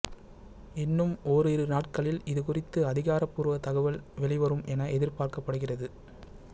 இன்னும் ஓரிரு நாட்களில் இதுகுறித்து அதிகாரபூர்வ தகவல் வெளிவரும் என எதிர்பார்க்கப்படுகிறது